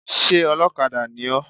Sé olókadà ni ó?